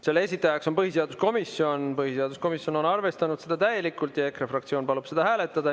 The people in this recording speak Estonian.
Selle esitajaks on põhiseaduskomisjon, põhiseaduskomisjon on arvestanud seda täielikult ja EKRE fraktsioon palub seda hääletada.